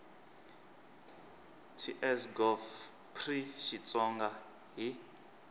ts gov pri xitsonga hl